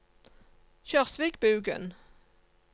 Kjørsvikbugen